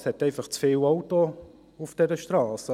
Es hat einfach zu viele Autos auf dieser Strasse.